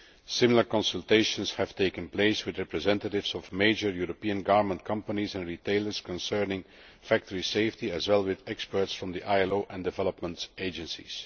Similar consultations have taken place with representatives of major European garment companies and retailers concerning factory safety as well as with experts from the ILO and development agencies.